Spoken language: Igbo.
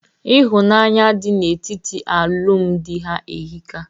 Ịhụnanya dị na etiti alụmdi ha ehika.